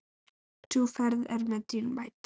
Sú ferð er mér dýrmæt.